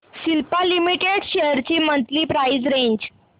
Cipla limited shares ची monthly price range